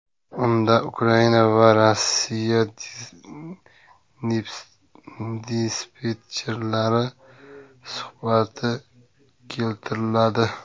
Unda Ukraina va Rossiya dispetcherlari suhbati keltiriladi.